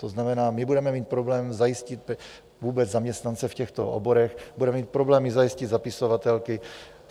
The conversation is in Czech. To znamená, my budeme mít problém zajistit vůbec zaměstnance v těchto oborech, budeme mít problémy zajistit zapisovatelky.